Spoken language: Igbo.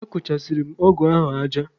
Akụchasịrị m ọgụ ahụ aja.